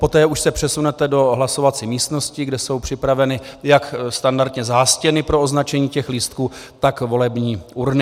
Poté už se přesunete do hlasovací místnosti, kde jsou připraveny jak standardně zástěny pro označení těch lístků, tak volební urny.